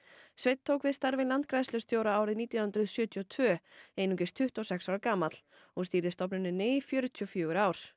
sveinn tók við starfi landgræðslustjóra árið nítján hundruð sjötíu og tvö einungis tuttugu og sex ára gamall og stýrði stofnuninni í fjörutíu og fjögur ár